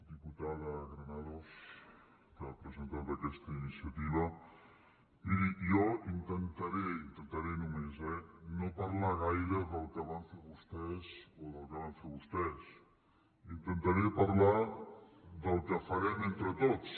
diputada granados que ha presentat aquesta iniciativa miri jo intentaré intentaré només eh no parlar gaire del que van fer vostès o del que van fer vostès intentaré parlar del que farem entre tots